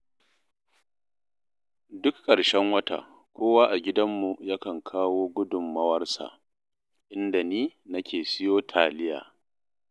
Duk ƙarshen wata kowa a gidanmu yakan kawo gudummawarsa, inda ni nake siyo taliya